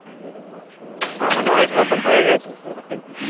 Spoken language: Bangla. তার মানে এক বছর হয়ে গেছে?